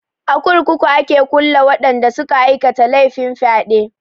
A kurkuku a ke kulle waɗanda suka aikata laifin fyaɗe.